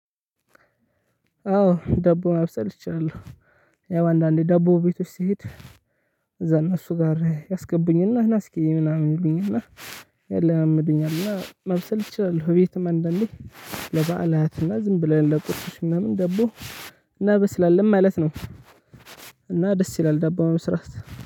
አዎ ዳቦ ማብሰል እችላለሁ። ያው አንዳንዴ ዳቦ ቤቶች ስሄድ እዛ እነሱ ጋር ያስገቡኝ እና ና እስኪ ምናምን ይሉኝና ያለማምዱኛል እና ማብሰል እችላለሁ። ቤትም አንዳንዴ ለበአላትና ዝም ብለን ለቁርሶች ምናምን ደቦ እናበስላለን ማለት ነው። እና ደስ ይላል ዳቦ መስራት።